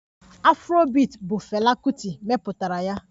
Afrobiiti bụ fela Kuti mepụtara ya